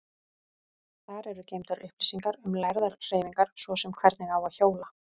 Þar eru geymdar upplýsingar um lærðar hreyfingar, svo sem hvernig á að hjóla.